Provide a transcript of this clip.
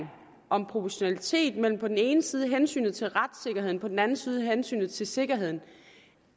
af proportionalitet på den ene side hensynet til retssikkerheden og på den anden side hensynet til sikkerheden